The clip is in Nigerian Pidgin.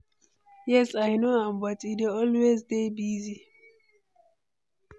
yes, i know am, but e dey always dey busy.